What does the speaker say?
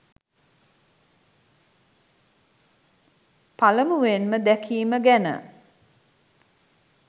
පළමුවෙන්ම දැකීම ගැන.